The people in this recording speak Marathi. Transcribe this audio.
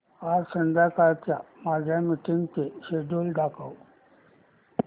आज संध्याकाळच्या माझ्या मीटिंग्सचे शेड्यूल दाखव